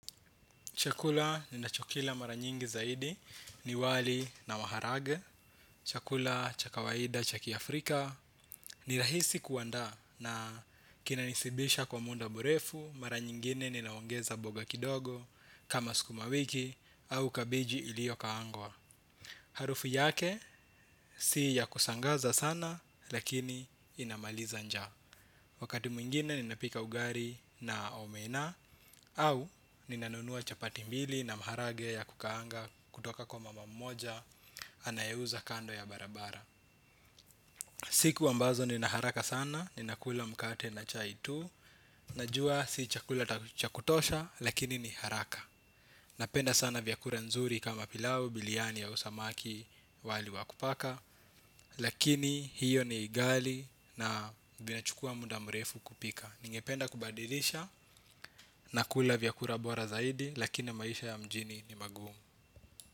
Chakula ninachokila mara nyingi zaidi ni wali na maharage. Chakula cha kawaida cha kiafrika ni rahisi kuandaa na kinanisibisha kwa muda mrefu mara nyingine ninaongeza mboga kidogo kama sukuma wiki au kabeji iliyokaangwa. Harufu yake si ya kushangaza sana lakini inamaliza njaa. Wakati mwingine ninapika ugali na omena au ninanunua chapati mbili na maharage ya kukaanga kutoka kwa mama mmoja anayeuza kando ya barabara. Siku ambazo ninaharaka sana, ninakula mkate na chai tu, najua si chakula cha kutosha lakini ni haraka. Napenda sana vyakula nzuri kama pilau, biriani au samaki wali wa kupaka. Lakini hiyo ni ghali na inachukua muda mrefu kupika ningependa kubadilisha na kula vyakula bora zaidi lakini maisha ya mjini ni magumu.